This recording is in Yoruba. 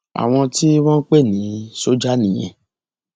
àwọn tí wọn ń pè ní sójà nìyẹn